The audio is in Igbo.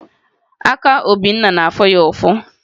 Aka Obinna na-afụ ya ụfụ